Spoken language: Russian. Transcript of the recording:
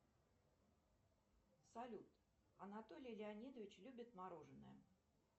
салют анатолий леонидович любит мороженое